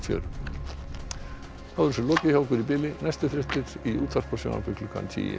þá er þessu lokið hjá okkur í bili næstu fréttir í útvarpi og sjónvarpi klukkan tíu í kvöld verið þið sæl